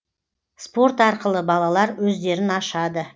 спорт арқылы балалар өздерін ашады